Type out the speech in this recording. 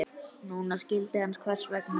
Núna skildi hann hvers vegna.